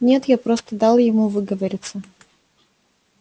нет я просто дал ему выговориться